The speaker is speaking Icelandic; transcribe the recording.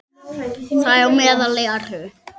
Þar á meðal eru